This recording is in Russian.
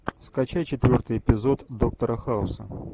скачай четвертый эпизод доктора хауса